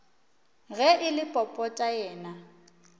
ge e le popota yena